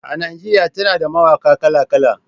A Najeriya tana da mawaƙa kala-kala.